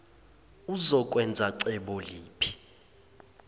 uzokwenza cebo liphi